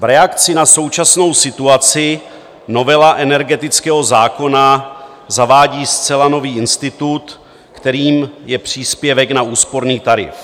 V reakci na současnou situaci novela energetického zákona zavádí zcela nový institut, kterým je příspěvek na úsporný tarif.